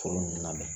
Foro ninnu labɛn